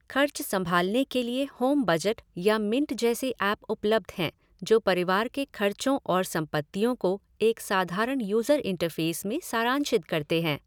खर्च संभालने के लिए होमबजट या मिंट जैसे ऐप उपलब्ध हैं, जो परिवार के खर्चों और संपत्तियों को एक साधारण यूजर इंटरफ़ेस में सारांशित करते हैं।